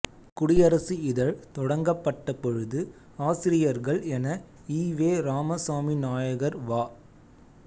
குடிஅரசு இதழ் தொடங்கப்பட்டபொழுது ஆசிரியர்கள் என ஈ வெ இராமசாமிநாயக்கர் வ